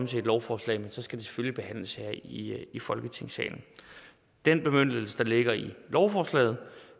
til et lovforslag men så skal det selvfølgelig behandles her i folketingssalen den bemyndigelse der ligger i lovforslaget